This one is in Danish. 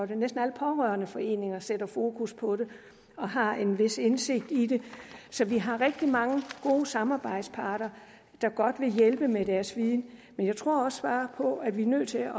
det næsten alle pårørendeforeninger sætter fokus på det og har en vis indsigt i det så vi har rigtig mange gode samarbejdspartnere der godt vil hjælpe med deres viden men jeg tror også bare på at vi er nødt til at